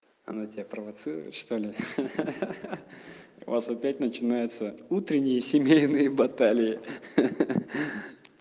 она тебя провоцировать что ли ха-ха ха-ха у вас опять начинаются утренние семейные баталии ха-ха ха-ха